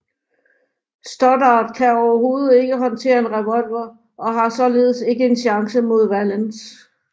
Stoddard kan overhovedet ikke håndtere en revolver og har således ikke en chance mod Valance